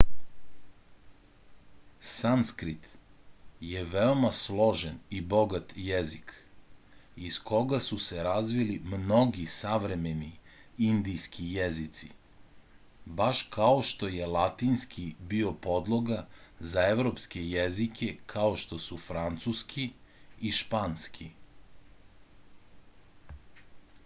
sanskrit je veoma složen i bogat jezik iz koga su se razvili mnogi savremeni indijski jezici baš kao što je latinski bio podloga za evropske jezike kao što su francuski i španski